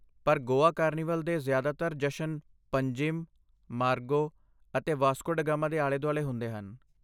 ਪਰ ਗੋਆ ਕਾਰਨੀਵਲ ਦੇ ਜ਼ਿਆਦਾਤਰ ਜਸ਼ਨ ਪੰਜਿਮ, ਮਾਰਗੋ ਅਤੇ ਵਾਸਕੋ ਡੇ ਗਾਮਾ ਦੇ ਆਲੇ ਦੁਆਲੇ ਹੁੰਦੇ ਹਨ